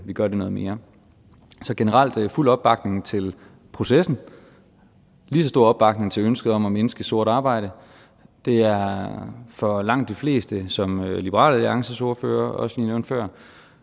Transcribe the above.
vi gør det noget mere så generelt fuld opbakning til processen og lige så stor opbakning til ønsket om at mindske sort arbejde det er for langt de fleste som liberal alliances ordfører også nævnte før